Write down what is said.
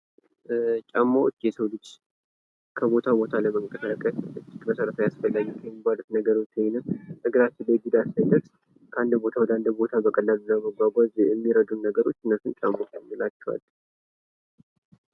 ጫማዎች የሰው ልጅ ከቦታ ቦታ ለመንቀሳቀስ መሠረታዊ አስፈላጊ ከሚባሉት ነገሮች ከአንድ ቦታ ወደ አንድ ቦታ ለመጓጓዝ የሚረዱን ነገሮች እነሱ ጫማዎች እንላቸዋለን።